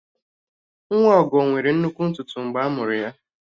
Nwa Ọgọ nwere nnukwu ntutu mgbe a mụrụ ya